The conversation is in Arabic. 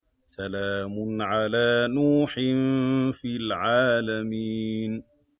سَلَامٌ عَلَىٰ نُوحٍ فِي الْعَالَمِينَ